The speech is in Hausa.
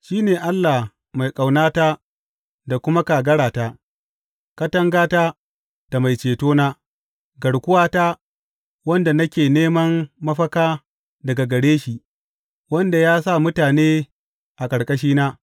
Shi ne Allah mai ƙaunata da kuma kagarata, katangata da mai cetona, garkuwata, wanda nake neman mafaka daga gare shi, wanda ya sa mutane a ƙarƙashina.